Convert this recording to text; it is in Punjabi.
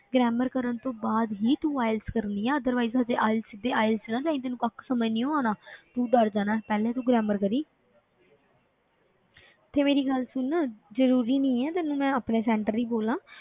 Grammar ਕਰਨ ਤੋਂ ਬਾਅਦ ਹੀ ਤੂੰ IELTS ਕਰਨੀ ਹੈ otherwise ਹਜੇ IELTS ਤੇ IELTS 'ਚ ਨਾ ਜਾਈਂ ਤੈਨੂੰ ਕੱਖ ਸਮਝ ਨੀ ਆਉਣਾ ਤੂੰ ਡਰ ਜਾਣਾ ਹੈ, ਪਹਿਲੇ ਤੂੰ grammar ਕਰੀਂ ਤੇ ਮੇਰੀ ਗੱਲ ਸੁਣ ਜ਼ਰੂਰੀ ਨਹੀਂ ਹੈ ਤੈਨੂੰ ਮੈਂ ਆਪਣੇ center ਹੀ ਬੋਲਾਂ,